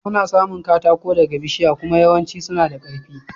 Ana samun katako daga bishiya kuma yawancin suna da karfi.